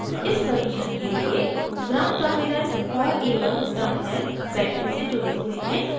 इस परीक्षण के लिए ground gnd terminal और a1 terminal battery से जुड़े हुए हैं